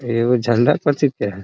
इ एगो झंडा कोची के है ।